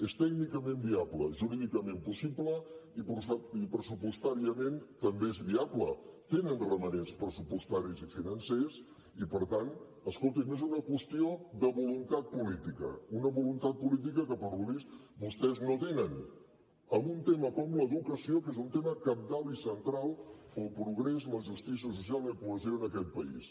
és tècnicament viable jurídicament possible i pressupostàriament també és viable tenen romanents pressupostaris i financers i per tant escolti’m és una qüestió de voluntat política una voluntat política que pel que es veu vostès no tenen en un tema com l’educació que és un tema cabdal i central per al progrés la justícia social i la cohesió en aquest país